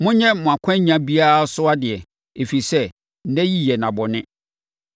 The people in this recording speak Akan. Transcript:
Monyɛ mo akwannya biara so adeɛ, ɛfiri sɛ, nna yi yɛ nna bɔne.